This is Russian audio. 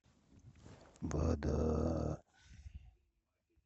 вода